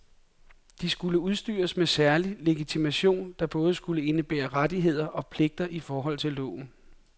De skulle udstyres med særlig legitimation, der både skulle indebære rettigheder og pligter i forhold til loven.